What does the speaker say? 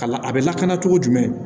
Ka la a bɛ lakana cogo jumɛn